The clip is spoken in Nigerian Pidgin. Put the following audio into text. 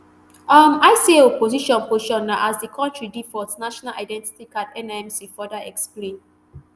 um icao position position na as di kontri default national identity card nimc further explain